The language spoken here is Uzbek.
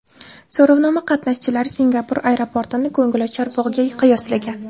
So‘rovnoma qatnashchilari Singapur aeroportini ko‘ngilochar bog‘ga qiyoslagan.